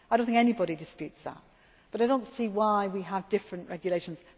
time off. I do not think anybody disputes that, but I do not see why we have different